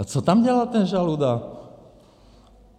A co tam dělal ten Žaluda?